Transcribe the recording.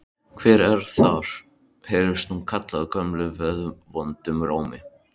Hver er þar? heyrðist nú kallað gömlum geðvondum rómi.